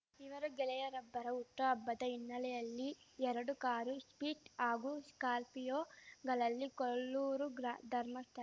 ಇವರು ಗೆಳೆಯರೊಬ್ಬರ ಹುಟ್ಟುಹಬ್ಬದ ಹಿನ್ನೆಲೆಯಲ್ಲಿ ಎರಡು ಕಾರು ಶಿಫ್ಟ್‌ ಹಾಗೂ ಶ್ಕಾರ್ಪಿಯೋಗಳಲ್ಲಿ ಕೊಲ್ಲೂರು ಧರ್ಮಸ್ಥಳ